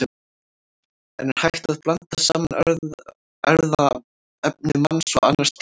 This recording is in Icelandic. En er hægt að blanda saman erfðaefni manns og annars dýrs?